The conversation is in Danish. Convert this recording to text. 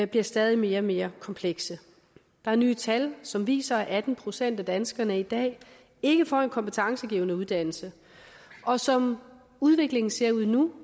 bliver stadig mere og mere komplekse der er nye tal som viser at atten procent af danskerne i dag ikke får en kompetencegivende uddannelse og som udviklingen ser ud nu